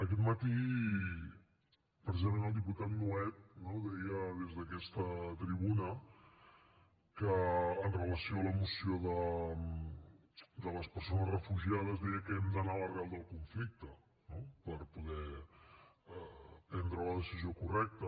aquest matí precisament el diputat nuet deia des d’aquesta tribuna amb relació a la moció de les persones refugiades que hem d’anar a l’arrel del conflicte no per poder prendre la decisió correcta